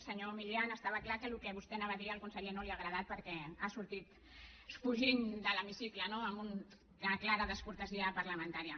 senyor milián estava clar que el que vostè havia de dir al conseller no li ha agradat perquè ha sortit fugint de l’hemicicle no en una clara descortesia parlamentària